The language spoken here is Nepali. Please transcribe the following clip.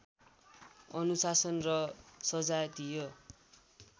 अनुशासन र सजातीय